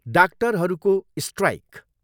डाक्टरहरूको स्ट्राइक।